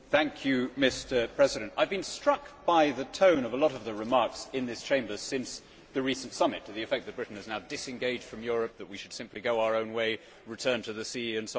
Mr President, I have been struck by the tone of a lot of the remarks in this Chamber since the recent summit to the effect that Britain is now disengaged from Europe, that we should simply go our own way, return to the sea and so on.